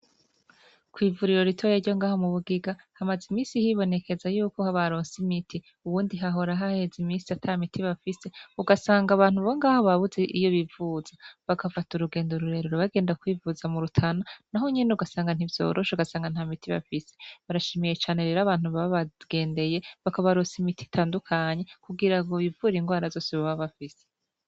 Kwivuriro ritoye ryo ngaho mu bugiga hamaze imisi hibonekeza yuko habaronsimiti uwundi hahorahaheza imisi ata miti bafise ugasanga abantu bongaho babuze iyo bivuza bagafata urugendo ururerero bagenda kwivuza mu rutana na ho nyene ugasanga ntivyorosha ugasanga nta miti bafise barashimiye cane rero abantu baba bagendeye bakabarosa imiti itandukanya kugira ngo bivura ingwara zose baba bafise.